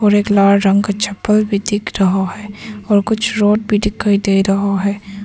और एक लाल रंग का चप्पल भी दिख रहा है और कुछ राड भी दिखाई दे रहा है।